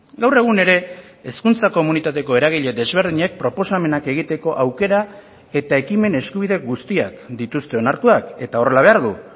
gaur egun ere hezkuntza komunitateko eragile desberdinek proposamenak egiteko aukera eta ekimen eskubide guztiak dituzte onartuak eta horrela behar du